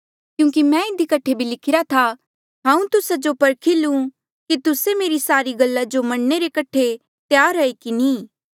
क्यूंकि मैं इधी कठे भी लिखिरा था कि हांऊँ तुस्सा जो परखी लूं कि तुस्से मेरी सारी गल्ला जो मनणे रे कठे त्यार ऐें कि नी